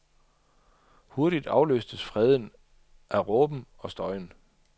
Hurtigt afløstes freden af råben og støjen.